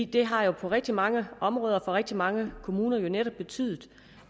det har på rigtig mange områder for rigtig mange kommuner netop betydet